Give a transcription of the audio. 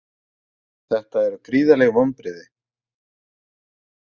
Þetta eru gríðarleg vonbrigði